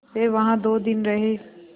वे वहाँ दो दिन रहे